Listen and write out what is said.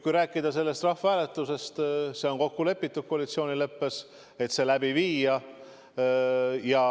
Kui rääkida sellest rahvahääletusest, siis on kokku lepitud koalitsioonileppes, et see läbi viia.